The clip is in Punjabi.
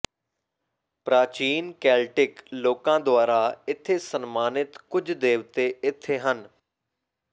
ਪ੍ਰਾਚੀਨ ਕੇਲਟਿਕ ਲੋਕਾਂ ਦੁਆਰਾ ਇੱਥੇ ਸਨਮਾਨਿਤ ਕੁਝ ਦੇਵਤੇ ਇੱਥੇ ਹਨ